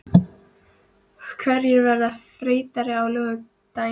Hverjir verða þreyttari á laugardaginn?